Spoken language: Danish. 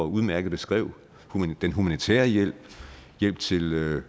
udmærket beskrev den humanitære hjælp hjælp til